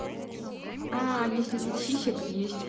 а если нет сисек есть